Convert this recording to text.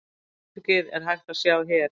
Atvikið er hægt að sjá hér.